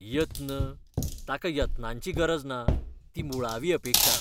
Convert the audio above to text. यत्न? ताका यत्नांची गरज ना. ती मुळावी अपेक्षा .